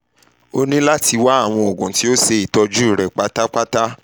o nira lati wa awọn oogun ti o ṣe itọju rẹ patapata